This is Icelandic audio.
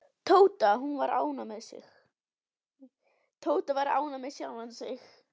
Tóti var ánægður með sjálfan sig.